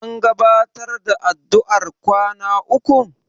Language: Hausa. An gabatar da addu'ar kwana ukun?